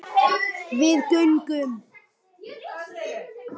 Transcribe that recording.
Við göngum